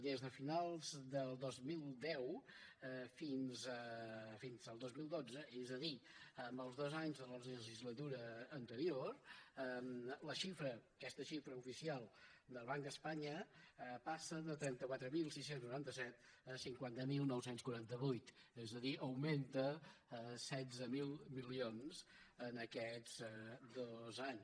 des de finals del dos mil deu fins al dos mil dotze és a dir en els dos anys de la legislatura anterior la xifra aquesta xifra oficial del banc d’espanya passa de trenta quatre mil sis cents i noranta set a cinquanta mil nou cents i quaranta vuit és a dir augmenta setze mil milions en aquests dos anys